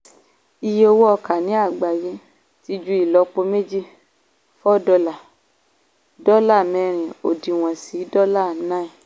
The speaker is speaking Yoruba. iye owó ọkà ní àgbáyé ti ju ìlọ́po méjì ($4) dọ́là mẹ́rin òdiwọ̀n sí dọ́là 9.